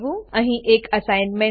અહીં એક અસાઇનમેંટ છે